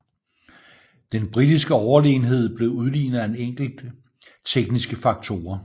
Den britiske overlegenhed blev udlignet af enkelte tekniske faktorer